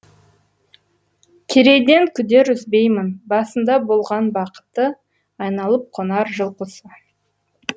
керейден күдер үзбеймін басында болған бақыты айналып қонар жыл құсы